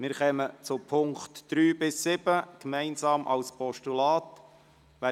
Wir stimmen gemeinsam über die Punkte 3 bis 7 als Postulat ab.